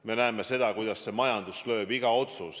Me näeme, kuidas see majandust lööb.